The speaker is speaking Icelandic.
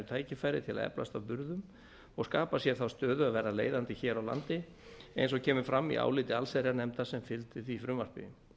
tækifæri til þess að eflast að burðum og skapa sér þá stöðu að verða leiðandi hér á landi eins og kemur fram í áliti allsherjarnefndar sem fylgdi því frumvarpi